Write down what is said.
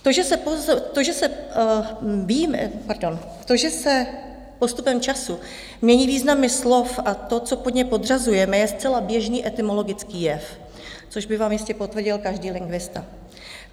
To, že se postupem času mění významy slov a to, co pod ně podřazujeme, je zcela běžný etymologický jev, což by vám jistě potvrdil každý lingvista.